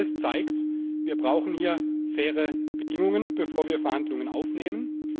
Auch das zeigt Wir brauchen hier faire Bedingungen, bevor wir Verhandlungen aufnehmen.